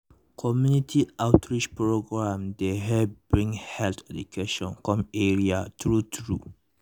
community outreach programs dey help bring health education come area true true